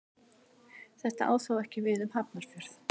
Þetta á þó ekki við um Hafnarfjörð.